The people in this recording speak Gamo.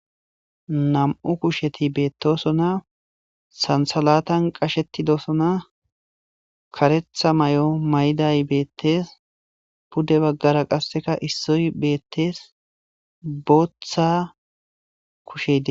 nam7u kusheti beettosona sansalatan qashetidosona karetha may7o may7day beettees pudde baggara qasseka issoy beettees booththa kushede